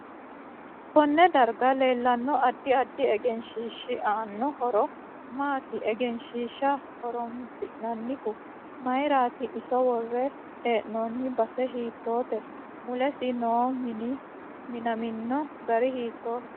Konne darga leelanno addi addi egenshiishi aanno horo maati egenshiisha horoomsinanihu mayiirati iso worre heenooni base hiitoote mulesi noo mini minamino gari hiitooho